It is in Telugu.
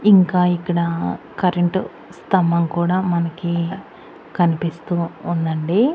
ఇంకా ఇక్కడ కరెంటు స్తంభం కూడా మనకి కనిపిస్తూ ఉందండి.